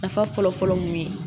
Nafa fɔlɔfɔlɔ mun ye